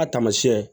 A tamasiyɛn